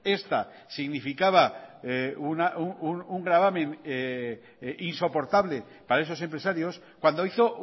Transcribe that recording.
esta significaba un gravamen insoportable para esos empresarios cuando hizo